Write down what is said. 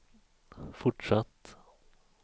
fortsatt